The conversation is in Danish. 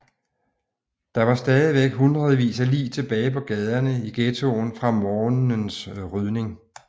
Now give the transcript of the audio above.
Der var stadig hundredvis af lig tilbage på gaderne i ghettoen fra morgenens rydning